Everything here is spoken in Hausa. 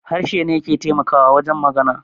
Harshe ne ke taimakawa wajen magana